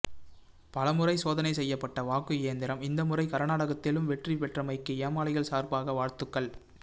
பலமுறை சோதனை செய்யப்பட வாக்கு இயந்திரம் இந்த முறை கர்நாடகத்திலும் வெற்றி பெற்றமைக்கு ஏமாளிகள் சார்பாக வாழ்த்துக்கள்